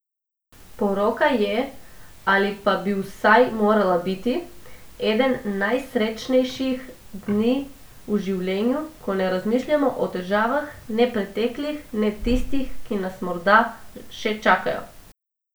Poroka je, ali pa bi vsaj morala biti, eden najsrečnejših dni v življenju, ko ne razmišljamo o težavah, ne preteklih, ne tistih, ki nas morda še čakajo.